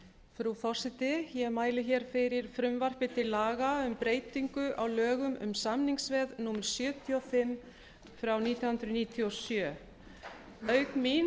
frú forseti ég mæli hér fyrir frumvarpi til laga um breytingu á lögum um samningsveð númer sjötíu og fimm nítján hundruð níutíu og sjö auk mín